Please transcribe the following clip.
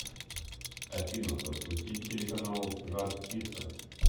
афина запустить телеканал жар птица